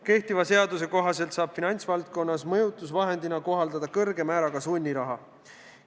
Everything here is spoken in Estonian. Kehtiva seaduse kohaselt saab finantsvaldkonnas mõjutusvahendina kohaldada kõrge määraga sunniraha.